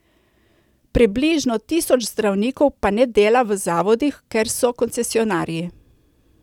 Približno tisoč zdravnikov pa ne dela v zavodih, ker so koncesionarji.